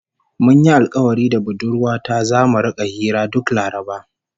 Mun yi alkawari da budurwa ta zamu rika hira duk Laraba